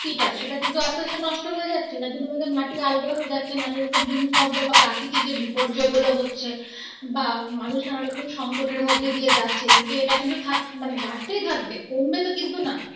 শক্তি টা সেটা কিন্তু আস্তে আস্তে নষ্ট হয়ে যাচ্ছে যার জন্য আমাদের মাটি আলগা হয়ে যাচ্ছে নানা রকম ভূমি কম্প বা প্রকৃতিক যে বিপর্যয় গুলো হচ্ছে বা মানুষ নানা রকম সংকটের মধ্যে দিয়ে যাচ্ছে কিন্তু এটা মানে বাড়তেই থাকবে কমবে তো কিন্তু না.